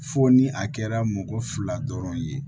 Fo ni a kɛra mɔgɔ fila dɔrɔn ye